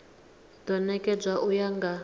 do nekedzwa u ya nga